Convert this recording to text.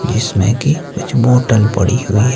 जिसमें कि कुछ बोतल पड़ी हुई है।